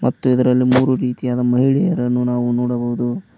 ಮತ್ತು ಇದರಲ್ಲಿ ಮೂರು ರೀತಿಯಾದ ಮಹಿಳೆಯರನ್ನು ನಾವು ನೋಡಬಹುದು.